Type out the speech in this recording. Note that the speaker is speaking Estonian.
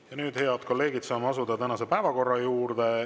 Ja nüüd, head kolleegid, saame asuda tänase päevakorra juurde.